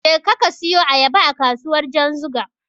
Jeka ka siyu Ayaba a kasuwar Janzuga.